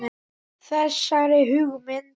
Þessari hugmynd